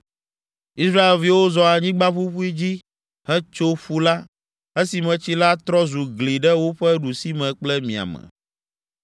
Israelviwo zɔ anyigba ƒuƒui dzi hetso ƒu la, esime tsi la trɔ zu gli ɖe woƒe ɖusime kple miame.